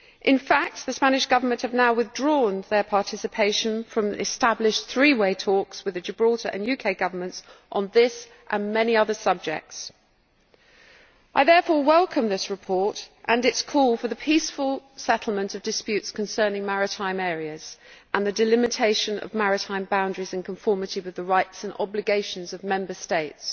In fact the Spanish Government has now withdrawn its participation from established three way talks with the Gibraltar and UK Governments on this and many other subjects. I therefore welcome this report and its call for the peaceful settlement of disputes concerning maritime areas and the delimitation of maritime boundaries in conformity with the rights and obligations of Member States.